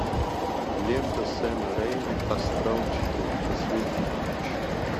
лента сэма рейми астрал четыре последний ключ